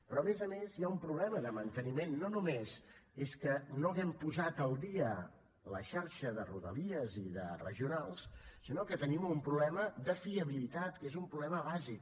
però a més a més hi ha un problema de manteniment no només és que no hàgim posat al dia la xarxa de rodalies i de regionals sinó que tenim un problema de fiabilitat que és un problema bàsic